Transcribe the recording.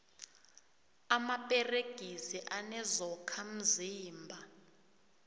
amaperegisi anezokha mzimba